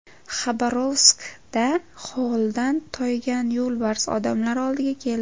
Xabarovskda holdan toygan yo‘lbars odamlar oldiga keldi.